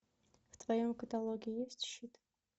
в твоем каталоге есть щит